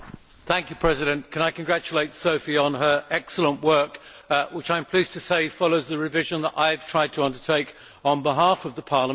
Mr President, can I congratulate Sophie on her excellent work, which I am pleased to say follows the revision that I have tried to undertake on behalf of Parliament.